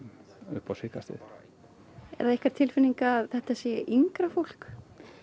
upp á síðkastið er það ykkar tilfinning að þetta sé yngra fólk